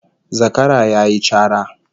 Zakara yayi cara